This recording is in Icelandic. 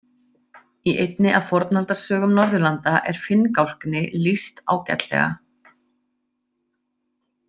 Í einni af fornaldarsögum Norðurlanda er finngálkni lýst ágætlega.